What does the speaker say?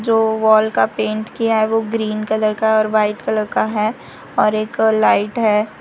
जो वॉल का पेंट किया है वो ग्रीन कलर का और वाइट कलर का है और एक लाइट है।